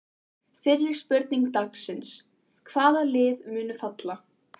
Fyrri spurning dagsins: Hvaða lið munu falla?